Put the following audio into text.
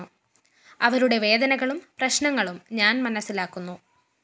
അവരുടെ വേദനകളും പ്രശ്‌നങ്ങളും ഞാന്‍ മനസിലാക്കുന്നു